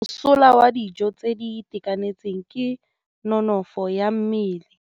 Mosola wa dijô tse di itekanetseng ke nonôfô ya mmele.